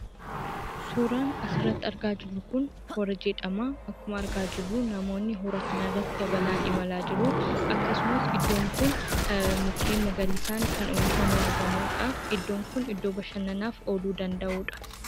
Suuraan as irratti argaa jirru kun, Hooraa jedhama. Akkuma argaa jiruu namooni Hooraa kana irratti yaabalaan imala jiru. Akkasumaas iddoon kun mukaa magarisaan uwwifamee kan argamudha. Iddoon kun iddoo bashananaaf oluu danda'uudha.